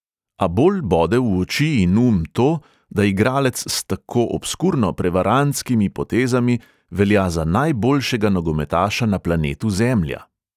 A bolj bode v oči in um to, da igralec s tako obskurno prevarantskimi potezami velja za najboljšega nogometaša na planetu zemlja.